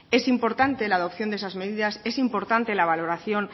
es importante la adopción de esas medidas es importante la valoración